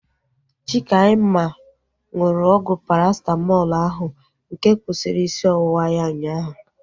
Chikaima nụrụ ọgwụ Parasitamọlu ahu nke kwụsịrị isi ọwụwa ya ụnyaahụ